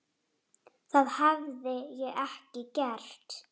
Og hvað gerir hann þá?